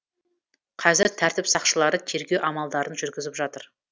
қазір тәртіп сақшылары тергеу амалдарын жүргізіп жатыр